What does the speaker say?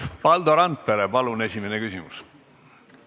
Valdo Randpere, palun esimene küsimus!